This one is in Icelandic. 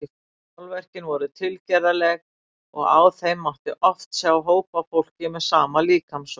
Málverkin voru tilgerðarleg og á þeim mátti oft sjá hóp af fólki með sama líkamsvöxt.